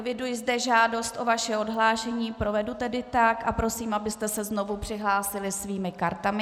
Eviduji zde žádost o vaše odhlášení, provedu tedy tak a prosím, abyste se znovu přihlásili svými kartami.